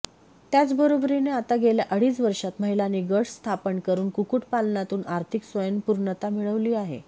त्याचबरोबरीने आता गेल्या अडीच वर्षांत महिलांनी गट स्थापनकरून कुक्कुटपालनातून आर्थिक स्वयंपूर्णता मिळविली आहे